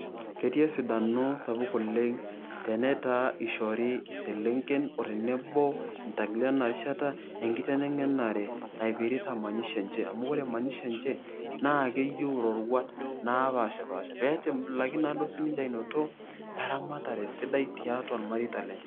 Ketii esidano sapuk oleng' tenetaa ishori iselenken otenebo intankilen enarishata enkiteneng'enare emanyisho enche. Amu ore manyisho enche, naa keyieu iroruat napashipasha ,petim laki naduo siniche ainoto, eramatare sidai tiatua irmareita lenche.